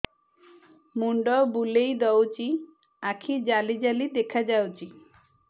ମୁଣ୍ଡ ବୁଲେଇ ଦଉଚି ଆଖି ଜାଲି ଜାଲି ଦେଖା ଯାଉଚି